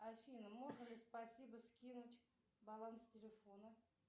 афина можно ли спасибо скинуть баланс телефона